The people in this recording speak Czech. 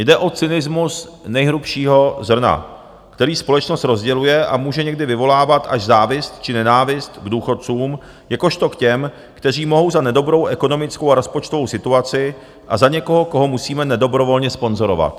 Jde o cynismus nejhrubšího zrna, který společnost rozděluje a může někdy vyvolávat až závist či nenávist k důchodcům jakožto k těm, kteří mohou za nedobrou ekonomickou a rozpočtovou situaci, a za někoho, koho musíme nedobrovolně sponzorovat.